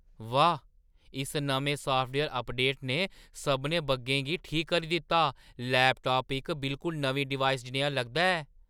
वाह्, इस नमें साफ्टवेयर अपडेट ने सभनें बग्गें गी ठीक करी दित्ता। लैपटाप इक बिलकुल नमीं डिवाइस जनेहा लगदा ऐ!